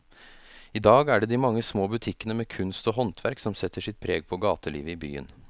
I dag er det de mange små butikkene med kunst og håndverk som setter sitt preg på gatelivet i byen.